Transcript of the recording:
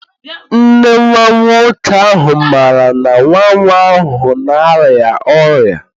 Nne nwa nwoke ahụ maara na nwa nwa ahụ na-arịa ọrịa?